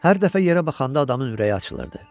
Hər dəfə yerə baxanda adamın ürəyi açılırdı.